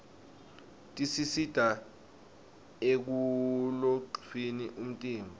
tisista ekulolgnqfni umtimba